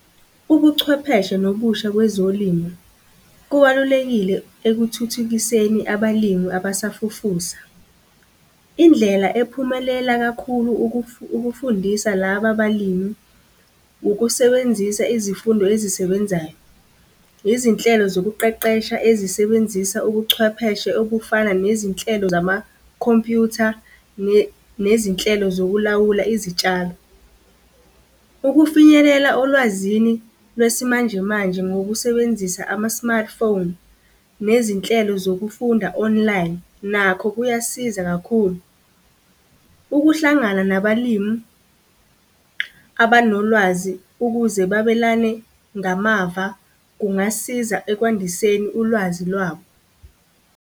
Ubuchwepheshe nobusha kwezolimo kubalulekile ekuthuthukiseni abalimi abasafufusa. Indlela ephumelela kakhulu ukufundisa laba balimi, ukusebenzisa izifundo ezisebenzayo, izinhlelo zokuqeqesha ezisebenzisa ubuchwepheshe obufana nezinhlelo zama-computer, nezinhlelo zokulawula izitshalo. Ukufinyelela olwazini lwesimanjemanje ngokusebenzisa ama-smartphone, nezinhlelo zokufunda online nakho kuyasiza kakhulu. Ukuhlangana nabalimi abanolwazi ukuze babelane ngamava kungasiza ekwandiseni ulwazi lwabo.